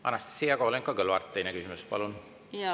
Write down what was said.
Anastassia Kovalenko-Kõlvart, teine küsimus, palun!